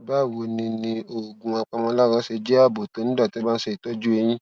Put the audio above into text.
báwo ni ni oògùn apàmòlára ṣe jé ààbò tó nígbà tí wón bá ń ṣe ìtójú eyín